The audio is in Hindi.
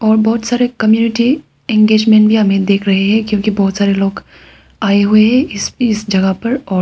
बहोत सारे कम्युनिटी इंगेजमेंट भी हमें देख रहे हैं क्योंकि बहोत सारे लोग आए हुए इस जगह पर और--